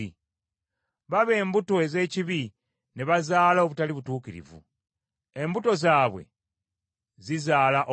Baba embuto ez’ekibi ne bazaala obutali butuukirivu, embuto zaabwe zizaala obulimba.”